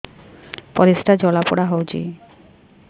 ପରିସ୍ରା ଜଳାପୋଡା ହଉଛି